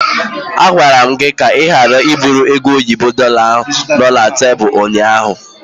M gwara gị ka ị ghara iburu oge oyibo dorlar no na tebụl ụnyaahụ!